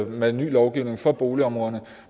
med ny lovgivning for boligområderne